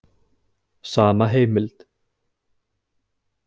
Sama heimild.